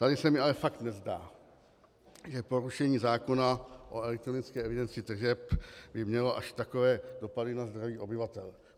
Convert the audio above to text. Tady se mi ale fakt nezdá, že porušení zákona o elektronické evidenci tržeb by mělo až takové dopady na zdraví obyvatel.